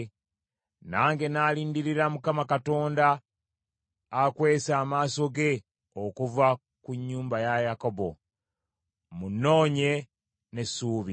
Nange nnaalindirira Mukama Katonda akwese amaaso ge okuva ku nnyumba ya Yakobo, mmunoonye n’essuubi.